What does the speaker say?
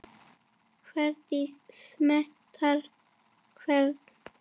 Hver smitar hvern?